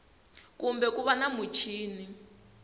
kumbe ku va na muchini